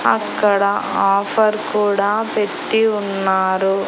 అక్కడ ఆఫర్ కూడా పెట్టి ఉన్నారు.